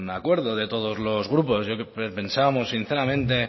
acuerdo de todos los grupos pensábamos sinceramente